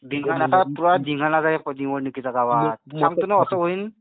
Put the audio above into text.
धिंगाणा तर धिंगाणाच आहे आता निवडणुकीचा गावात. सांगतो ना असं होईल?